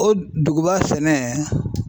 O duguba sɛnɛ